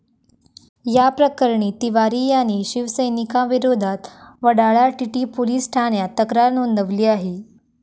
या प्रकरणी तिवारी याने शिवसैनिकांविरोधात वडाळा टीटी पोलिस ठाण्यात तक्रार नोंदवली आहे.